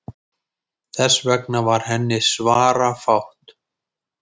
Þess vegna var henni svarafátt.